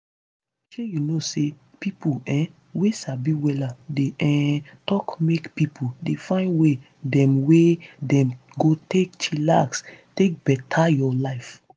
shey you know say pipo um wey sabi wella dey um talk make pipo dey find way dem wey dem go take chillax take beta your life.